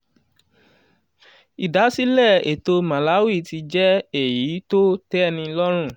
ìdásílẹ̀ ètò malawi ti jẹ́ èyí tó tẹ́ni lọ́rùn.